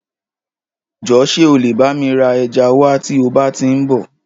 Jọ̀ọ́ ṣe ọ lẹ̀ bá mi ra ẹja wa tí o bá ti ń bọ?